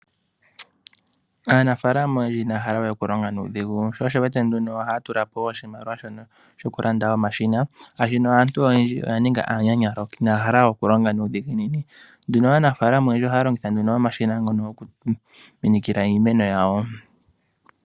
Aanafalama oyendji ina ya hala we okulonga nuudhigu. Sho osho wu wete nduno ohaya tulapo oshimaliwa shono shokulanda omashina, shaashino aantu oyendji oya ninga aananyalo, inaya hala we okulonga nuudhiginini. Nduno aanafaalama oyendji ohaya longitha omashina ngono gokuminikila iimeno yawo.